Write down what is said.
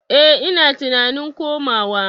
Eh ina tunanin komawa.